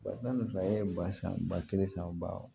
Walima e ye ba san ba kelen san o ba